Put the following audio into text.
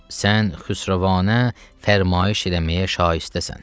Sən xüsrəvanə fərmayiş eləməyə şaistəsən.